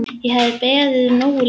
Ég hafði beðið nógu lengi.